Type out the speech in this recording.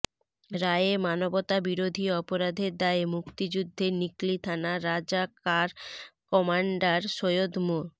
রায়ে মানবতাবিরোধী অপরাধের দায়ে মুক্তিযুদ্ধে নিকলি থানা রাজাকার কমান্ডার সৈয়দ মো